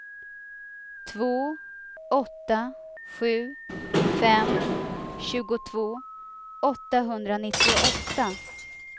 två åtta sju fem tjugotvå åttahundranittioåtta